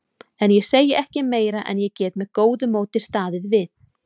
En ég segi ekki meira en ég get með góðu móti staðið við.